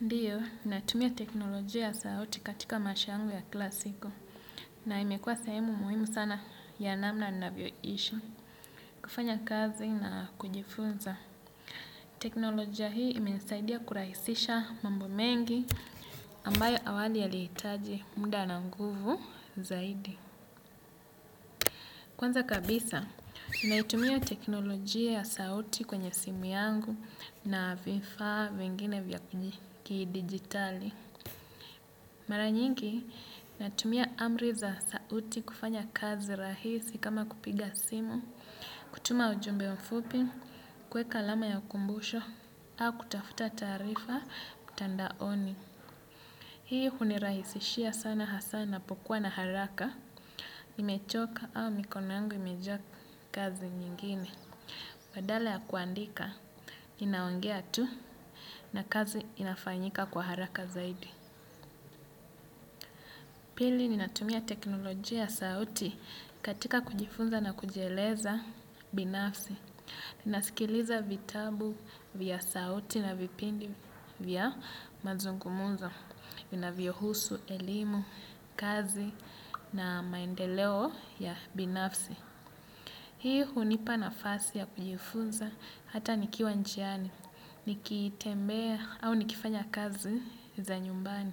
Ndio, natumia teknolojia ya sauti katika maisha yangu ya kila siku na imekuwa sehemu muhimu sana ya namna ninavyoishi kufanya kazi na kujifunza. Teknolojia hii imenisaidia kurahisisha mambo mengi ambayo awali yalihitaji muda na nguvu zaidi. Kwanza kabisa, naitumia teknolojia ya sauti kwenye simu yangu na vifaa vingine vya kidijitali. Mara nyingi natumia amri za sauti kufanya kazi rahisi kama kupiga simu, kutuma ujumbe mfupi, kuweka alama ya kumbusho, au kutafuta taarifa mtandaoni. Hii hunirahisishia sana hasa ninapokuwa na haraka, nimechoka au mikono yangu imejaa kazi nyingine. Badala ya kuandika, ninaongea tu na kazi inafanyika kwa haraka zaidi. Pili, ninatumia teknolojia ya sauti katika kujifunza na kujieleza binafsi. Ninasikiliza vitabu vya sauti na vipindi vya mazungumzo, vinavyohusu, elimu, kazi na maendeleo ya binafsi. Hii hunipa nafasi ya kujifunza hata nikiwa njiani, nikitembea au nikifanya kazi za nyumbani.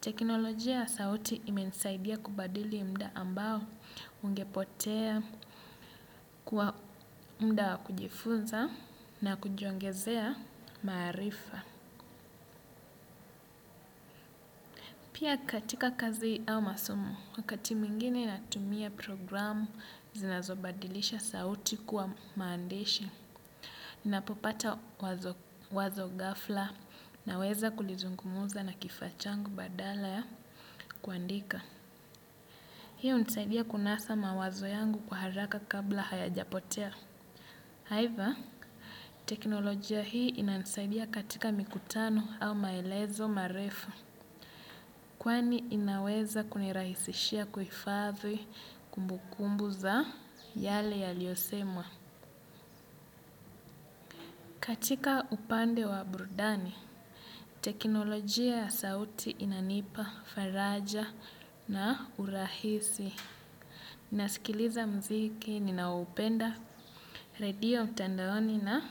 Teknolojia ya sauti imenisaidia kubadili muda ambao ungepotea kwa muda wa kujifunza na kujiongezea maarifa. Pia katika kazi au masomo, wakati mwingine natumia programu zinazobadilisha sauti kuwa maandishi. Ninapopata wazo ghafla naweza kulizungumza na kifaa changu badala ya kuandika. Hiyo hunisaidia kunasa mawazo yangu kwa haraka kabla hayajapotea. Aidha, teknolojia hii inanisaidia katika mikutano au maelezo marefu. Kwani inaweza kunirahisishia kuhifadhi kumbukumbu za yale yaliyosemwa. Katika upande wa burudani, teknolojia ya sauti inanipa, faraja na urahisi. Ninasikiliza muziki, ninaoupenda, radio mtandaoni na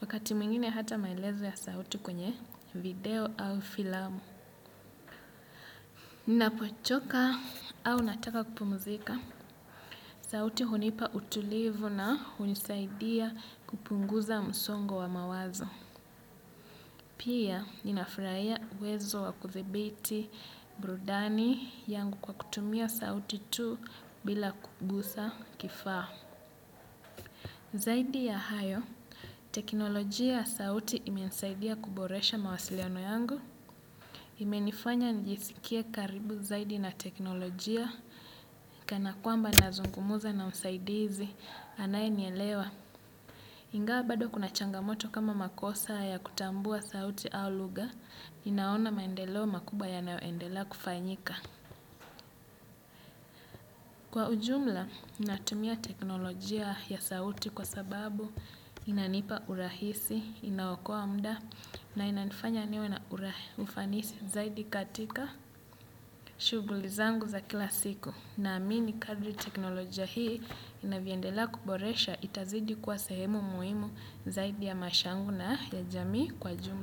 wakati mwingine hata maelezo ya sauti kwenye video au filamu. Ninapochoka au nataka kupumzika, sauti hunipa utulivu na hunisaidia kupunguza msongo wa mawazo. Pia ninafurahia uwezo wa kuthibiti burudani yangu kwa kutumia sauti tu bila kugusa kifaa. Zaidi ya hayo, teknolojia ya sauti imenisaidia kuboresha mawasiliano yangu, imenifanya nijisikie karibu zaidi na teknolojia, kana kwamba nazungumza na msaidizi, anayenielewa. Ingawa bado kuna changamoto kama makosa ya kutambua sauti au lugha, ninaona maendeleo makubwa yanayoendelea kufanyika. Kwa ujumla, natumia teknolojia ya sauti kwa sababu inanipa urahisi, inaokoa muda na inanifanya niwe na ufanisi zaidi katika shughuli zangu za kila siku. Naamini kadri teknolojia hii inavyoendelea kuboresha itazidi kuwa sehemu muhimu zaidi ya maisha yangu na ya jamii kwa jumla.